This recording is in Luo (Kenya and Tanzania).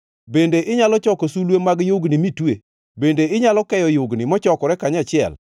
“Bende inyalo choko sulwe mag yugni mitue? Bende inyalo keyo yugni mochokore kanyachiel?